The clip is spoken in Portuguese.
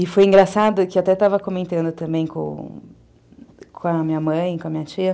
E foi engraçado que eu até estava comentando também com a minha mãe, com a minha tia.